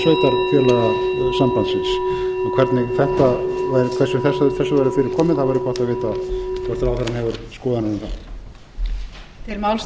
sveitarfélagasambandsins og hvernig þessu væri fyrir komið á væri gott að vita það hvort ráðherrann hefur skoðanir um það